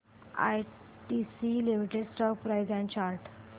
ITC limited stock price and chart